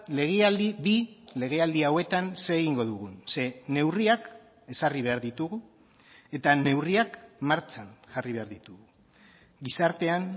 legealdi bi legealdi hauetan zer egingo dugun ze neurriak ezarri behar ditugu eta neurriak martxan jarri behar ditugu gizartean